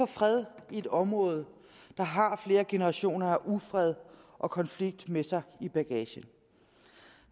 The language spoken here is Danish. fred i et område der har flere generationer af ufred og konflikt med sig i bagagen